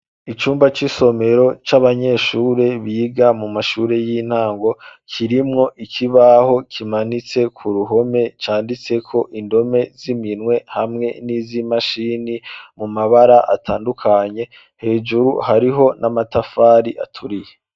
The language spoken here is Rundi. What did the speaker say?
Icumba c'isomero c'abanyeshure biga muma shure y'intango kirimwo ikibaho kimanitse kuruhome canditseko indome z'iminwe hamwe n'izimashini mumabara atandukanye hejuru hariho n'amatafari aturiye